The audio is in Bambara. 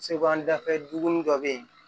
Segu an dafɛ dugu dɔ bɛ yen